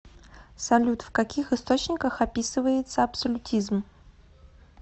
салют в каких источниках описывается абсолютизм